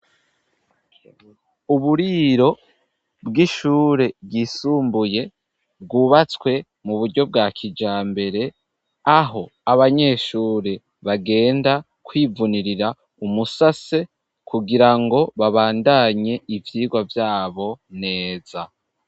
Uburiro bwishure ryisumbuye bwubatswe muburyo bwa kijambere aho abanyeshure bagenda kwivunirira umusase kugirango babandanye ivyigwa vyabo neza.